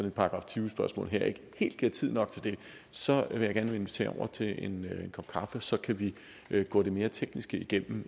et § tyve spørgsmål her ikke helt giver tid nok til det så vil jeg gerne invitere over til en kop kaffe og så kan vi gå det mere tekniske igennem